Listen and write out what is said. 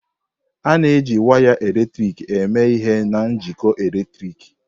A na-eji waya eletrik eme ihe na njikọ eletrik.